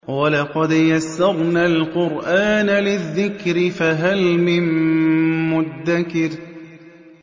وَلَقَدْ يَسَّرْنَا الْقُرْآنَ لِلذِّكْرِ فَهَلْ مِن مُّدَّكِرٍ